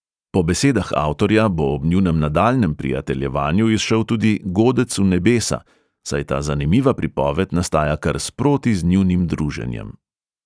Po besedah avtorja bo ob njunem nadaljnjem prijateljevanju izšel tudi "godec v nebesa", saj ta zanimiva pripoved nastaja kar sproti z njunim druženjem.